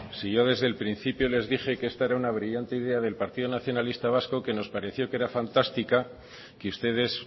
si yo desde el principio les dije que esta era una brillante idea del partido nacionalista vasco que nos pareció que era fantástica que ustedes